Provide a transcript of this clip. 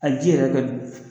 A ji yɛrɛ kɛ dun